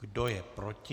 Kdo je proti?